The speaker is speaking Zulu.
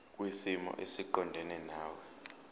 kwisimo esiqondena nawe